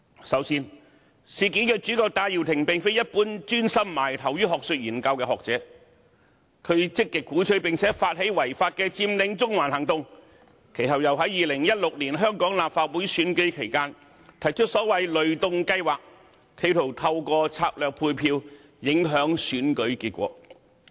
首先，事件主角戴耀廷並非一般專心埋首學術研究的學者，他積極鼓吹並發起違法的佔領中環行動，其後又在2016年香港立法會選舉期間，提出所謂"雷動計劃"，企圖透過策略配票，影響選舉結果。